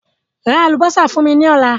Ra àlùbọ́sà fún mí ní ọ̀la